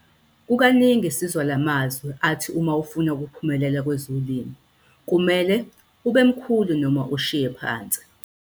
Kukaningi sizwa la mazwi athi uma ufuna ukuphumelela kwezolimo kumele "UBE MKHULU NOMA USHIYE PHANSI".